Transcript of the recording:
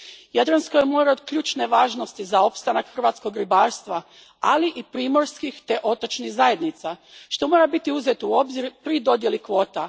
Jadransko je more od ključne važnosti za opstanak hrvatskog ribarstva, ali i primorskih te otočnih zajednica, što mora biti uzeto u obzir pri dodjeli kvota.